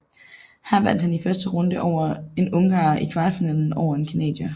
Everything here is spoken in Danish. Her vandt han i første runde over en ungarer og i kvartfinalen over en canadier